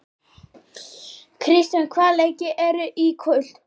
Kristrós, hvaða leikir eru í kvöld?